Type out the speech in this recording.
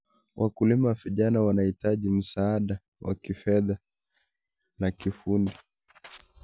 Wakulima vijana wanahitaji msaada wa kifedha na kiufundi.